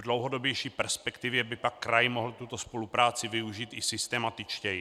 V dlouhodobější perspektivě by pak kraj mohl tuto spolupráci využít i systematičtěji.